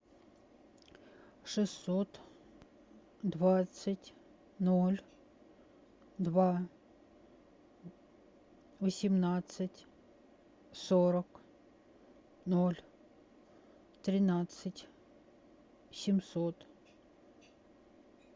шестьсот двадцать ноль два восемнадцать сорок ноль тринадцать семьсот